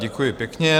Děkuji pěkně.